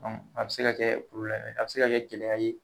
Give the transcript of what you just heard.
A bɛ se ka kɛ a bɛ se ka kɛ gɛlɛya ye